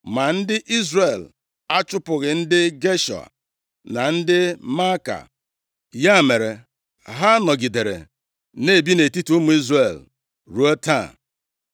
Ma ndị Izrel achụpụghị ndị Geshua na ndị Maaka, ya mere, ha nọgidere na-ebi nʼetiti ụmụ Izrel ruo taa.